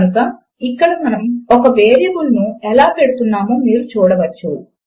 కనుక ఇక్కడ మనము ఒక వేరియబుల్ ను ఎలా పెడుతున్నామో మీరు చూడవచ్చు